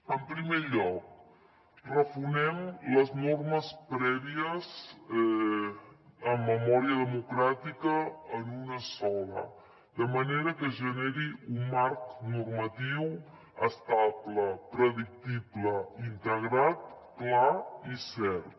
en primer lloc refonem les normes prèvies en memòria democràtica en una de sola de manera que es generi un marc normatiu estable predictible integrat clar i cert